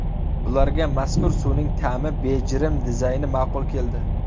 Ularga mazkur suvning ta’mi, bejirim dizayni ma’qul keldi.